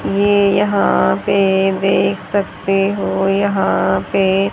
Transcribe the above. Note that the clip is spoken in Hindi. ये यहां पे देख सकते हो यहां पे--